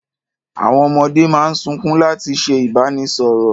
Àwọn ọmọdé máa ń sunkún láti ṣe ìbánisọ̀rọ̀.